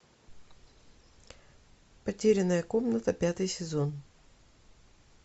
потерянная комната пятый сезон